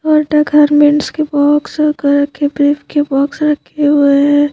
Under garments की box रखा हैं की बॉक्स राखी हुए हैं।